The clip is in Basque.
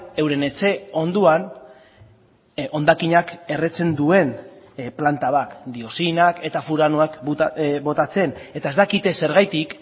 euren etxe ondoan hondakinak erretzen duen planta bat dioxinak eta furanoak botatzen eta ez dakite zergatik